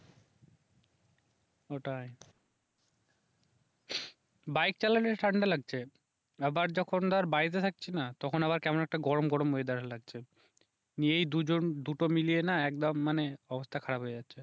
ওটাই বাইক চালালে ঠান্ডা লাগছে আবার যখন ধর বাড়িতে থাকছি না তখন আবার একটা কেমন গরম গরম ওয়েদার লাগছে এই দুজন দুটো মিলিয়ে না একদম মানে অবস্থা খারাপ হয়ে যাচ্ছে